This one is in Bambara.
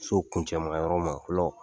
So kuncɛman yɔrɔ ma fɔlɔ